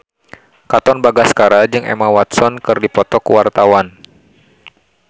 Katon Bagaskara jeung Emma Watson keur dipoto ku wartawan